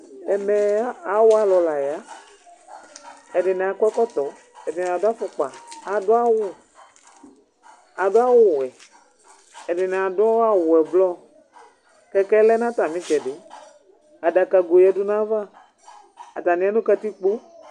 Ɛmɛ awʋalu la yɛ, ɛdini akɔ ɛkɔtɔ, ɛdini adu afukpa, adu awu, adu awu wɛ, ɛdini adu awu ɔblɔ, kɛkɛ lɛ nu ata mi itsɛdi, adaka goe yadu nu ayava, ata ni ya nu katikpoe